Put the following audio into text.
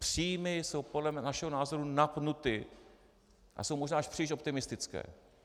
Příjmy jsou podle našeho názoru napnuty a jsou možná až příliš optimistické.